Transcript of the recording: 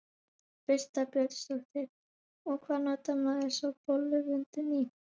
Birta Björnsdóttir: Og hvað notar maður svo bolluvöndinn í?